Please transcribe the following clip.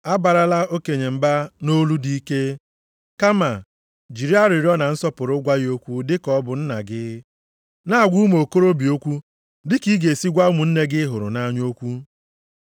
Abarala okenye mba nʼolu dị ike, kama jiri arịrịọ na nsọpụrụ gwa ya okwu dị ka ọ bụ nna gị. Na-agwa ụmụ okorobịa okwu dị ka ị ga-esi gwa ụmụnne gị ị hụrụ nʼanya okwu.